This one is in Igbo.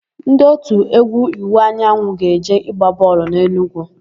Ndị òtù égwú Iwuanyanwụ ga-eje ịgba bọọlụ n'Enugwu.